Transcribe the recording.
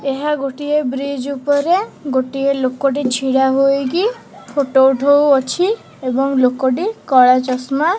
ଏହା ଗୋଟିଏ ବ୍ରିଜ୍ ଉପରେ ଗୋଟିଏ ଲୋକଟେ ଛିଡ଼ା ହୋଇକି ଫୋଟୋ ଉଠଉଅଛି ଏବଂ ଲୋକଟି କଳା ଚଷମା--